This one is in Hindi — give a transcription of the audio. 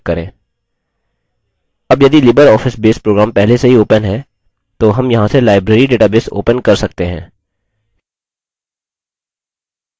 अब यदि libreoffice base program पहले से ही open है तो हम यहाँ से library database open कर सकते हैं